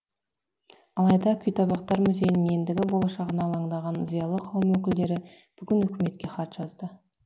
алайда күйтабақтар музейінің ендігі болашағына алаңдаған зиялы қауым өкілдері бүгін үкіметке хат жазды